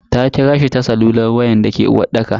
Ta kirashi ta salular wayan dake uwarɗaka.